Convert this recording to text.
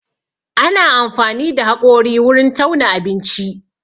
Ana amfani da haƙori wurin tauna abinci